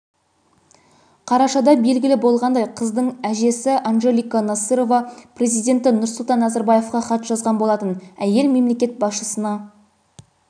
қарашада белгілі болғандай қыздың әжесі анжелика насырова президенті нұрсұлтан назарбаевқа хат жазған болатын әйел мемлекет басшысына